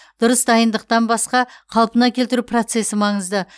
дұрыс дайындықтан басқа қалпына келтіру процесі маңызды